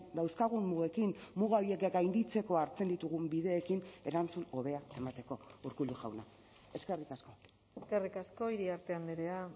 dauzkagun mugekin muga horiek gainditzeko hartzen ditugun bideekin erantzun hobea emateko urkullu jauna eskerrik asko eskerrik asko iriarte andrea